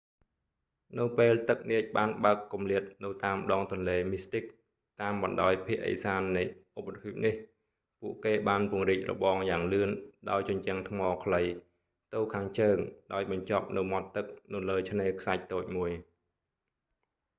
នៅពេលទឹកនាចបានបើកគម្លាតនៅតាមដងទន្លេមីស្ទីក mystic តាមបណ្តោយភាគឦសាននៃឧបទ្វីបនេះ ពួកគេបានពង្រីករបងយ៉ាងលឿនដោយជញ្ជាំងថ្មខ្លី ទៅខាងជើងដោយបញ្ចប់នៅមាត់ទឹកនៅលើឆ្នេរខ្សាច់តូចមួយ